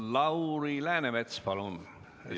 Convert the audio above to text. Lauri Läänemets, palun!